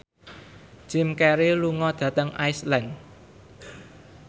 Jim Carey lunga dhateng Iceland